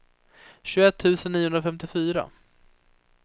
tjugoett tusen niohundrafemtiofyra